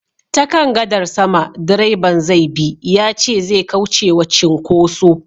Ta kan gadar sama direban zai bi yace zai kauce wa cinkoso